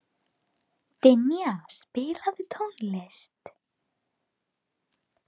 Dynja, spilaðu tónlist.